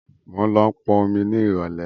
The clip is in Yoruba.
Mo ń lọ pọn omi ni irọ̀lẹ́